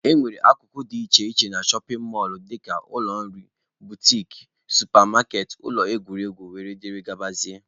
E nwere akụkụ dị iche iche na shọpin mọlụ dịka ụlọ nri, butiki, supa maketị, ụlọ egwuregwu wdg.